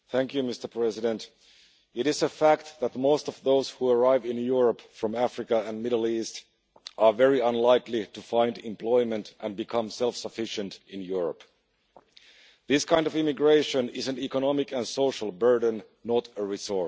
Mr President, it is a fact that the most of those who arrive in Europe from Africa and the Middle East are very unlikely to find employment and become self sufficient in Europe. This kind of immigration is an economic and social burden, not a resource.